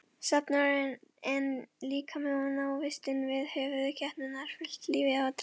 Söfnuðurinn einn líkami og návistin við höfuðskepnurnar fyllti lífið drama.